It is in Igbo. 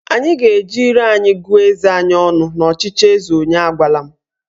Anyị ga-eji ire anyị gụọ eze anyị ọnụ n'ọchịchị eze onye agwala m